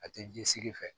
A tɛ ji sigi fɛ